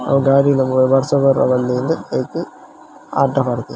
ಅವು ಗಾಡಿಲೆಗ್ ಪೂರ ಬರ್ಸ ಬರ್ರೆ ಬಲ್ಲಿ ಇಂದ್ ಐಕ್ ಅಡ್ಡ ಪಾಡ್ದೆರ್ .